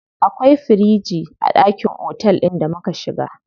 Akwai firiji a ɗakin otel ɗin da muka shiga.